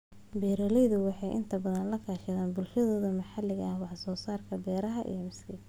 Beeraleydu waxay inta badan la kaashadaan bulshooyinka maxalliga ah wax soo saarka beeraha iyo miiska.